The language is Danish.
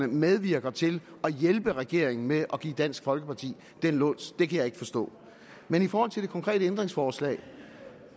medvirker til at hjælpe regeringen med at give dansk folkeparti den luns det kan jeg ikke forstå men i forhold til det konkrete ændringsforslag